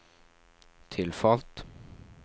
tilfalt